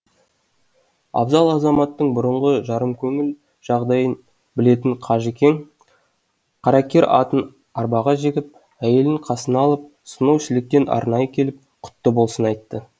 абзал азаматтың бұрынғы жарымкөңіл жағдайын білетін қажекең қаракер атын арбаға жегіп әйелін қасына алып сонау шіліктен арнайы келіп құтты болсын айтты